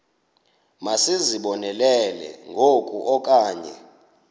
masizibonelele ngoku okanye